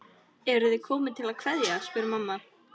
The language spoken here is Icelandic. Eruð þið komin til að kveðja, spyr mamma.